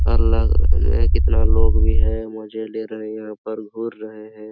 अलग कितना लोग भी हैं मजे ले रहे हैं पर घूर रहे हैं।